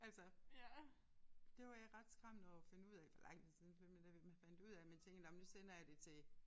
Altså det var jeg ret skræmt over at finde ud af for lang tid siden for det var nemlig det jeg fandt ud af det men tænkte nåh men nu sender jeg det til